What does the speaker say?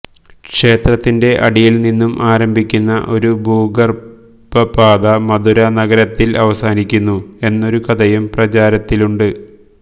ക്ഷേത്രത്തിൻ്റെ അടിയിൽ നിന്നും ആരംഭിക്കുന്ന ഒരു ഭൂഗർഭപാത മധുരാ നഗരത്തിൽ അവസാനിക്കുന്നു എന്നൊരു കഥയും പ്രചാരത്തിലുണ്ട്